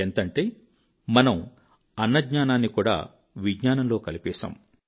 ఎంతంటే మనము అన్నజ్ఞానాన్ని కూడా విజ్ఞానంలో కలిపేశాము